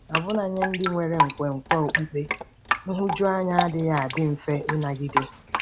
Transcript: Ọbụna nye ndị nwere nkwenkwe okpukpe, nhụjuanya adịghị adị mfe ịnagide.